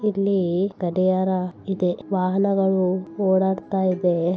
ಇಲ್ಲಿ ಗಡಿಯಾರ ಇದೆ ವಾಹನಗಳು ಓಡಾಡ್ತ ಇದೆ.